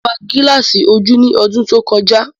Mo ra gilasi ojú ní ọdún tó kọjá